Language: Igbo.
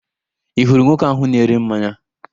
Ị hụrụ nwoke ahụ na-ere mmanya?